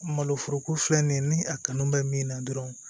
Malo foroko filɛ nin ye ni a kanu bɛ min na dɔrɔn